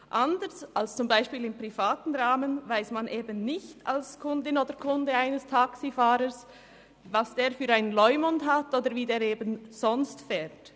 Anders als im privaten Rahmen weiss man als Kundin oder Kunde eines Taxifahrers nicht, was dieser für einen Leumund hat oder wie er sonst fährt.